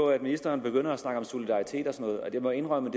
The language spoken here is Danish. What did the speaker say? at ministeren begyndte at snakke om solidaritet og noget og jeg må indrømme